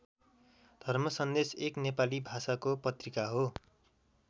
धर्म सन्देश एक नेपाली भाषाको पत्रिका हो।